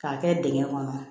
K'a kɛ dingɛ kɔnɔ